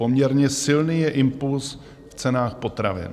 Poměrně silný je impulz v cenách potravin."